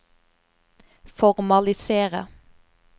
formalisere